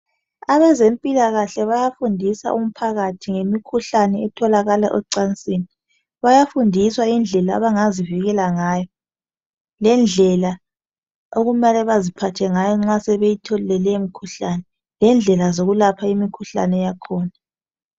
Abezempilakahle bayafundisa umphakathi ngemikhuhlane etholakala ocansini. Bayafundiswa indlela abangazivikela ngayo lendlela okumele baziphathe ngayo nxa sebethole le imkhuhlane lendlela zokwelapha imkhuhlane yakhona